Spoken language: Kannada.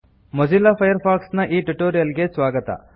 ಮೊಜಿಲ್ಲಾ ಫೈರ್ಫಾಕ್ಸ್ ನ ಈ ಟ್ಯುಟೋರಿಯಲ್ ಗೆ ಸ್ವಾಗತ